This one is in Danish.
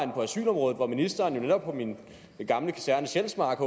på asylområdet hvor ministeren netop på min gamle kaserne sjælsmark